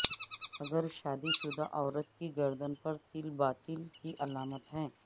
اگر شادی شدہ عورت کی گردن پر تل باطل کی علامت ہے